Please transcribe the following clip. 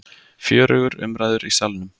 Fjörugur umræður í Salnum